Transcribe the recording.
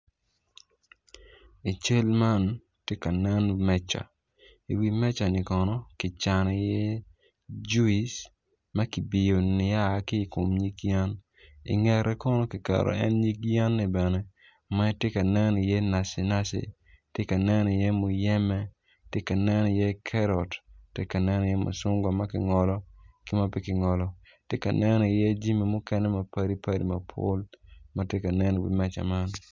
I cal man tye kanen meca i wi meca ni kono ki cano i iye juice ma kibiyo nia ki kom yen ingete kono kiketo iiye nyig yeni bene ma tye kanen i iye naci naci tye ka nen i iye muyeme tye ka nen i iye kerot tye kanen i iye muchungwa ma ki ngolo ki ma pe kingolo ki aneno i iye jami mukene mapadi padi matye ka nen i wi meca man